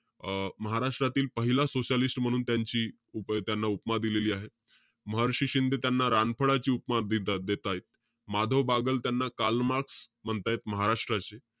अं महाराष्ट्रातील पहिला socialist म्हणून त्यांची उप~ त्याना उपमा दिली आहे. महर्षी शिंदे त्यांना रामफळाची उपमा दे~ देतायत. माधवबाग त्यांना कार्ल मार्क्स म्हणतायेत, महाराष्ट्राचे.